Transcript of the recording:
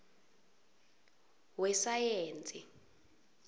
wesayensi